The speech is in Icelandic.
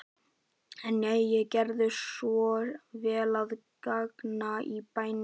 En jæja, gerðu svo vel að ganga í bæinn.